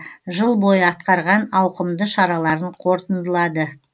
жыл бойы атқарған ауқымды шараларын қорытындылады